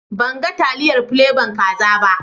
Ban gan taliyar plebon kaza ba.